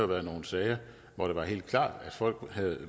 været nogle sager hvor det var helt klart